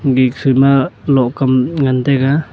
biksut ma lohkam ngan taga.